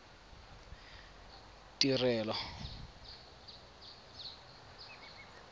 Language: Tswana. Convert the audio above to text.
tirelo